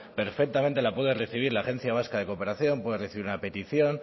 perfectamente la puede recibir la agencia vasca de cooperación puede recibir una petición